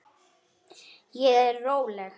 Ég er róleg.